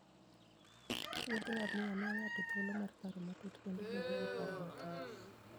Wuoth ngamia miyo ng'ato thuolo mar paro matut kendo bedo gi paro makare.